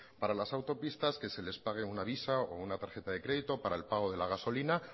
para las autopistas que se les pague una visa o una tarjeta de crédito para el pago de la gasolina